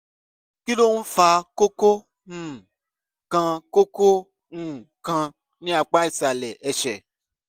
kí ló ń fa kókó um kan kókó um kan ní apá ìsàlẹ̀ ẹsẹ̀?